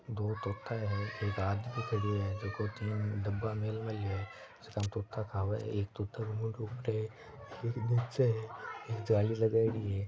दो तोता हैं एक आदमी खडियो है जको तीन डब्बा मेल मेलो हैं जका तोता खावे है एक तोता को मुंडो ऊपर है एक नीचे हैं एक जाली लगायडी है।